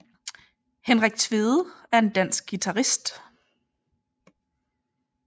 Henrik Tvede er en dansk guitarist